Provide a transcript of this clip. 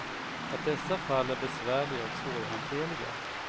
Att dessa fall är besvärliga och svårhanterliga.